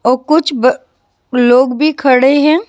और कुछ लोग भी खड़े है।